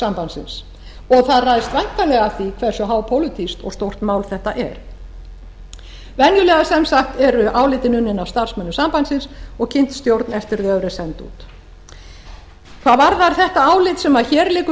sambandsins og það ræðst væntanlega af því hversu hápólitískt og stórt mál þetta er venjulega eru álitin unnin af starfsmönnum sambandsins og kynnt stjórn eftir að þau eru send út hvað varðar þetta álit sem hér liggur